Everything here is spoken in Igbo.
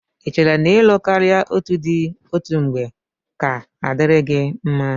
Ị chere n'ịlụ karịa otù di òtù mgbe ga-adịrị gị mma?